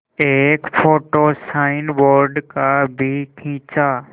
एक photo signboard का भी खींचा